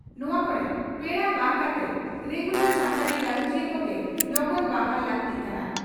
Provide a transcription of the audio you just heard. ᱱᱚᱣᱟ ᱠᱚᱨᱮ ᱯᱮᱲᱟ ᱵᱟᱝ ᱠᱟᱛᱮ ᱨᱮᱜᱩᱞᱟᱨ ᱥᱟᱱᱛᱟᱲᱤ ᱜᱟᱞᱚᱪᱤᱭᱟᱹ ᱠᱚᱜᱮ ᱞᱚᱜᱚᱱ ᱵᱟᱦᱟᱞ ᱞᱟᱹᱜᱛᱤᱜ ᱠᱟᱱᱟ ᱾